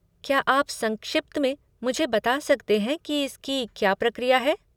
क्या आप संक्षिप्त में मुझे बता सकते हैं कि इसकी क्या प्रक्रिया है?